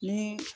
Ni